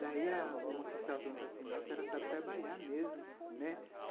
Daí a uma que estava assim... Nossa, ela sabe trabalhar mesmo, né.